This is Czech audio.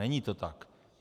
Není to tak.